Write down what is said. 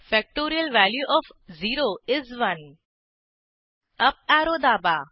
factorial value O F 0 is 1 up arrow दाबा